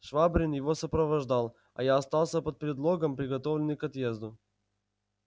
швабрин его сопровождал а я остался под предлогом приготовленный к отъезду